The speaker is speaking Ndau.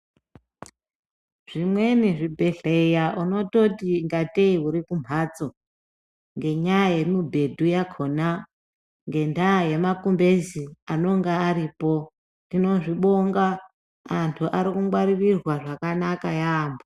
Zvimweni zvibhedhleya unototi ngateyi urikumhatso, ngendaha yemibhedhu yakhona, ngendaha yemakumbezi anonga aripo. Tinozvibonga, antu arikungwaririrwa zvakanaka yambo.